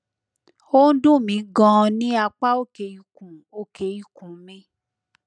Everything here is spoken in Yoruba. ó ń dùn mí ganan ní apá òkè ikùn òkè ikùn mi